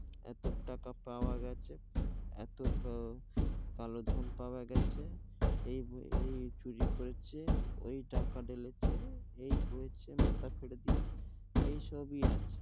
এত টাকা পাওয়া গেছে, এত উম কালো ধন পাওয়া গেছে, এই চুরি করেছে, ওই ডাকা ঢেলেছে, এই হয়েছে, মাথা ফেরে দিয়েছে এই সব ই আছে.